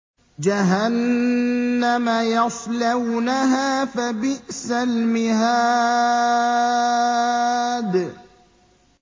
جَهَنَّمَ يَصْلَوْنَهَا فَبِئْسَ الْمِهَادُ